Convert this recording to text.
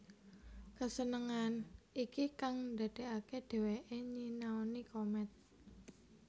Kesenengan iki kang ndadekake dheweke nyinaoni komet